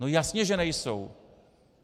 No jasně že nejsou!